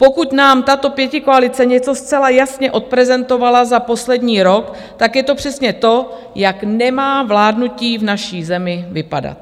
Pokud nám tato pětikoalice něco zcela jasně odprezentovala za posledních rok, tak je to přesně to, jak nemá vládnutí v naší zemi vypadat.